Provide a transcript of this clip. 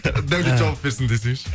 даулет жауап берсін десейші